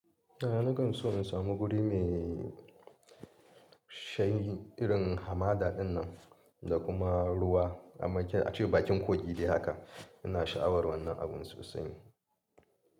A nakan so in samu guri mai shanyi irin hamada dinnan da kuma ruwa. A make ace bakin kogi dai haka. Ina sha'awar wannan abun sosai.